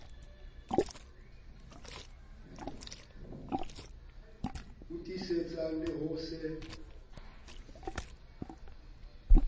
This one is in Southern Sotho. o tiisetsang le ho se